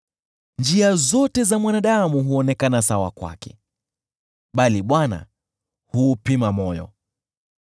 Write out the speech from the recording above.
Njia zote za mwanadamu huonekana sawa kwake, bali Bwana huupima moyo.